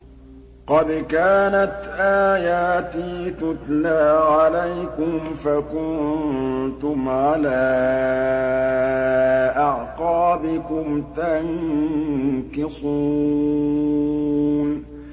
قَدْ كَانَتْ آيَاتِي تُتْلَىٰ عَلَيْكُمْ فَكُنتُمْ عَلَىٰ أَعْقَابِكُمْ تَنكِصُونَ